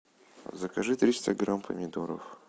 закажи триста грамм помидоров